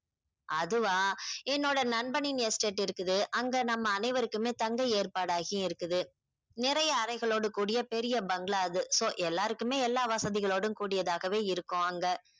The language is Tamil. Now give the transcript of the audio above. அதுவா என்னோட நண்பனின் estate இருக்குது அங்க நம்ம அனைவருக்குமே தங்க ஏற்பாடாகியே இருக்குது நிறைய அறைகளோட கூடிய பெரிய bangalaw அது so எல்லாருக்குமே எல்லா வசதிகளோடும் கூடியதாக இருக்கும் அங்க